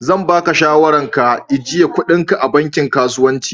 Zan ba ka shawaran ka ijiye kuɗin ka a banki kasuwanci.